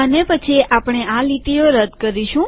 અને પછી આપણે આ લીટીઓ રદ કરીશું